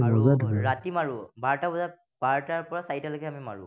ৰাতি মাৰো। বাৰটা বজা, বাৰটাৰ পৰা চাৰিটালৈকে আমি মাৰো।